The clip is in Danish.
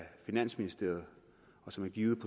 finansministeriet og som er givet i